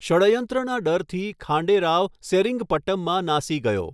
ષડયંત્રના ડરથી, ખાંડે રાવ સેરિંગપટમમાં નાસી ગયો.